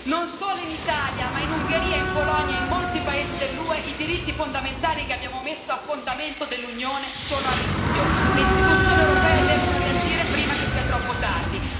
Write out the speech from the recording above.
Non solo in Italia, ma in Ungheria, in Polonia e in molti paesi dell'UE i diritti fondamentali che abbiamo messo a fondamento dell'Unione sono a rischio le istituzioni europee devono reagire prima che sia troppo tardi.